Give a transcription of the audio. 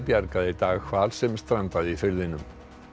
bjargaði í dag hval sem strandaði í firðinum